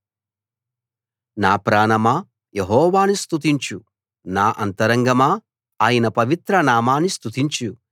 నా ప్రాణమా యెహోవాను స్తుతించు నా అంతరంగమా ఆయన పవిత్ర నామాన్ని స్తుతించు